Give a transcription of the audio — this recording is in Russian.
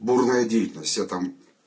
бурная деятельность я там